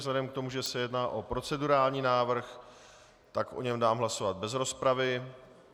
Vzhledem k tomu, že se jedná o procedurální návrh, tak o něm dám hlasovat bez rozpravy.